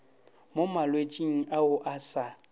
mo malwetšing ao a sa